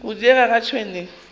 go diega ga tšhwene e